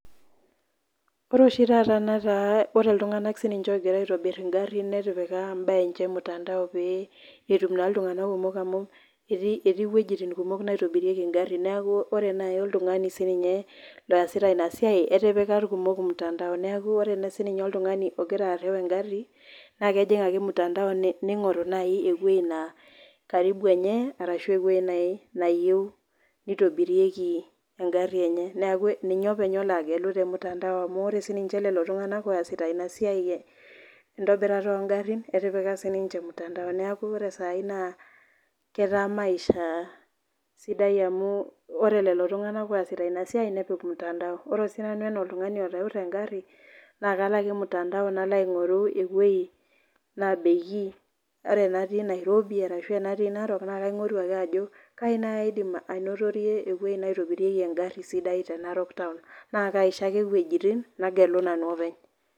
Ore oshi taata nataa ore ltunganak ninche ogira aitobir ngarin netipika mbaa emche ormutandao peyie etum na ltunganak kumok amu etii wuejitin kumok naitobirieki nkagarin neaku ore nai oltungani sininye oasite inasiaj etipika irkumok ormutandao neaku ore nai oltungani ogira areu engari na kejing ake ormutandao ningoru ewoi natii karibu enye ashu ewoi nai nayieu nitobirieki engari enye neaku nitobiri engari enye tormutandao ore sinye lolotunganak oasita inasiai entobirata ongarin etipika sinche ormutandao neaku ore sai ketaa maisha sidai amu kre lolotunganak oasita inasiai nepik ormutandao ore sinanu ana oltungani nakalo aje ormutandao nalo aingoru ewoi nabeki ore anatii Nairobi ashu anatii narok na kainguraa ajo kai nai aidim ainotorie ewoi naitobirieki engari te narok taun na kaisho ake wuejitin nagelu openy.